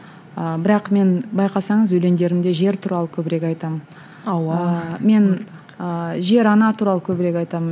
ы бірақ мен байқасаңыз өлеңдерімде жер туралы көбірек айтамын мен ыыы жер ана туралы көбірек айтамын